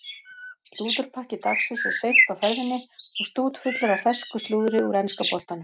Slúðurpakki dagsins er seint á ferðinni og stútfullur af fersku slúðri úr enska boltanum.